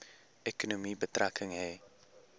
ekonomie betrekking hê